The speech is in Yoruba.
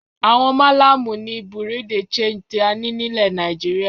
Àwọn Málámù ni Bureau de change tí a ní nílẹ̀ Nàìjíríà.